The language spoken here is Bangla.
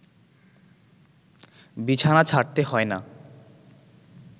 বিছানা ছাড়তে হয় না